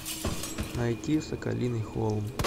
найти соколиный холм